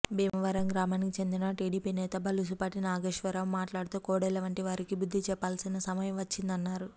భీమవరం గ్రామానికి చెందిన టీడీపీ నేత బలుసుపాటి నాగేశ్వరరావు మాట్లాడుతూ కోడెల వంటి వారికి బుద్ధి చెప్పాల్సిన సమయం వచ్చిందన్నారు